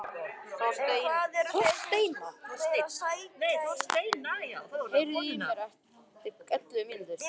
Þorsteina, heyrðu í mér eftir ellefu mínútur.